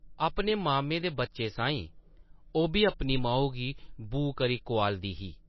अपने मामे दे बच्चें साहीं ओʼब्बी अपनी माऊ गी ‘बू’ करी कोआलदी ही ।